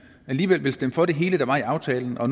alligevel vil stemme for det hele der var i aftalen og